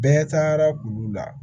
Bɛɛ tagara kulu la